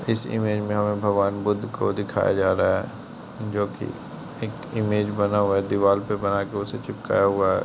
इस इमेज मे हमें भगवान बुद्ध को दिखाया जा रहा है जोकी एक इमेज बना हुआ है दीवाल पे बना के उसे चिपकाया हुआ है।